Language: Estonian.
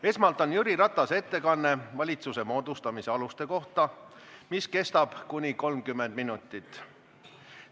Esmalt on Jüri Ratase ettekanne valitsuse moodustamise aluste kohta, mis kestab kuni 30 minutit.